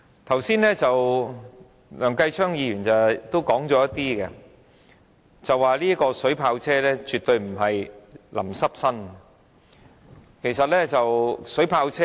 正如梁繼昌議員剛才所說，水炮車絕對不是將人的身體淋濕而已。